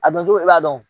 A dɔn cogo i b'a dɔn